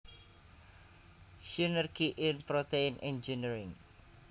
Synergy in Protein Engineering